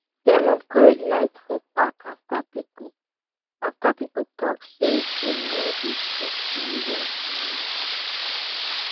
dem upgrade light for park after people after people talk say dem no dey too see well for night